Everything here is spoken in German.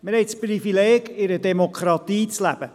Wir haben das Privileg, in einer Demokratie zu leben.